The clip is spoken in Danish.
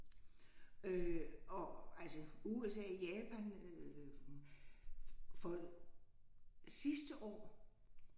Øh og altså USA Japan øh fold sidste år